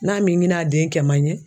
N'a m'i ɲin'a den kɛman ɲe